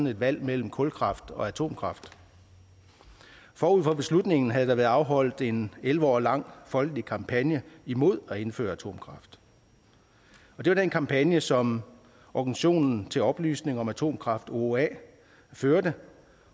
et valg mellem kulkraft og atomkraft forud for beslutningen havde der været afholdt en elleve år lang folkelig kampagne imod at indføre atomkraft og det var den kampagne som organisationen til oplysning om atomkraft ooa førte